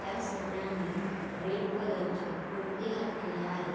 त्या सगळ्यांनी red colour चे कुरते घातलेले आहेत.